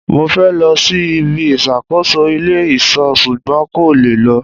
Mo fẹ́ lọ sí ibi ìṣàkóso ilé ìṣọ́ ṣugbọn n kò lè lọ